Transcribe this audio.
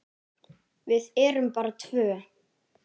Við erum bara tvö.